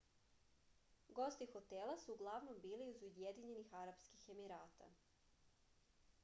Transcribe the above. gosti hostela su uglavnom bili iz ujedinjenih arapskih emirata